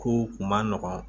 Kow kun man nɔgɔn